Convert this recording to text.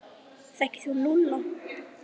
Þekkir þú Lúlla?